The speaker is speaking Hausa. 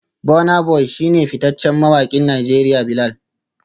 Burna boy shi ne fitaccen mawakin Najeriya Bilal